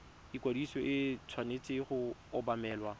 ikwadiso e tshwanetse go obamelwa